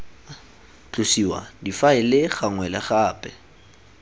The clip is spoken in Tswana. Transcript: tlosiwa difaele gangwe le gape